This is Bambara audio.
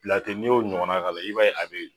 Bilate n'i y'olu ɲɔgɔnna k'ala i b'a ye abe